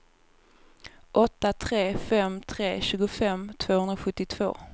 åtta tre fem tre tjugofem tvåhundrasjuttiotvå